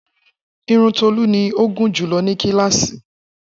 Irun Tolu ni o gunjulo ni kilasi.